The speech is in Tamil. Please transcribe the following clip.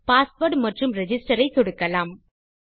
மற்றும் பாஸ்வேர்ட் மற்றும் ரிஜிஸ்டர் ஐ சொடுக்கலாம்